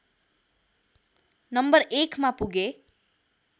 number एकमा पुगे